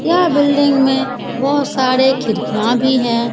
यह बिल्डिंग में बहुत सारे खिड़कियां भी है ।